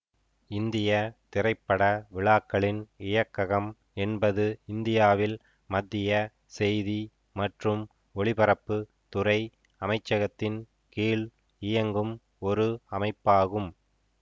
இந்திய திரைப்பட விழாக்களின் இயக்ககம் என்பது இந்தியாவில் மத்திய செய்தி மற்றும் ஒலிபரப்பு துறை அமைச்சகத்தின் கீழ் இயங்கும் ஒரு அமைப்பாகும்